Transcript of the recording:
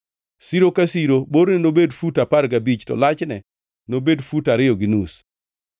Siro ka siro borne nobed fut apar gabich to lachne nobed fut ariyo gi nus,